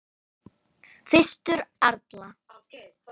Fyrstur allra.